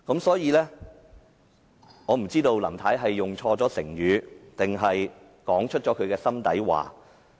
所以，我不知道林太是用錯了成語，還是說出心底話。